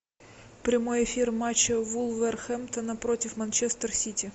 прямой эфир матча вулверхэмптона против манчестер сити